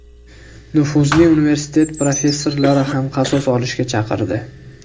Nufuzli universitet professorlari ham qasos olishga chaqirdi.